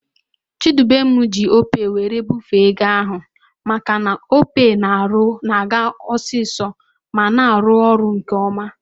Chidubem ji opay were bufee ego ahu maka na opay na-aga osisọ ma na-arụ ọrụ nke oma